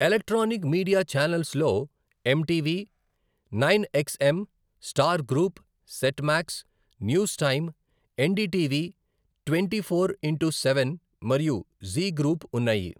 Electronic media ఛానెల్స్లో MTV, nine XM, Star group, Set Max, News Time, NDTV twenty four into seven మరియు Zee group ఉన్నాయి.